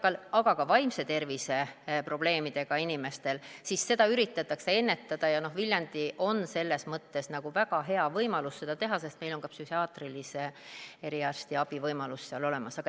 Eakate, aga ka vaimse tervise probleemidega inimeste probleeme üritatakse ennetada ja Viljandil on selles mõttes väga hea võimalus seda teha, sest neil on ka psühhiaatrilise eriarstiabi võimalus seal olemas.